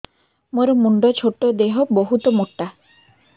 ମୋର ମୁଣ୍ଡ ଛୋଟ ଦେହ ବହୁତ ମୋଟା